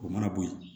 O mana bo ye